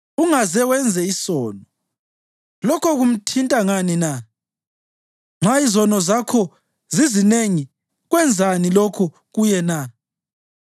Ungaze wenze isono, lokho kumthinta ngani na? Nxa izono zakho zizinengi, kwenzani lokho kuye na?